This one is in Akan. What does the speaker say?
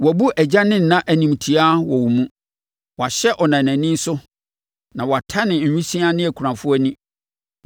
Wɔabu agya ne ɛna animtiaa wɔ wo mu. Wɔahyɛ ɔnanani so, na wɔatane awisiaa ne akunafoɔ ani.